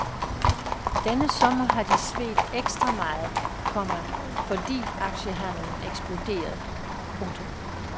Denne sommer har de svedt ekstra meget, komma fordi aktiehandelen eksploderede. punktum